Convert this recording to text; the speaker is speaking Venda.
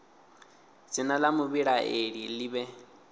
dzina la muvhilaleli li vhe